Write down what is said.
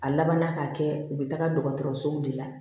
A labanna ka kɛ u bɛ taga dɔgɔtɔrɔsow de la